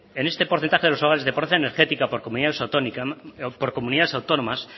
en este porcentaje de los avales de pobreza energética por comunidades autónomas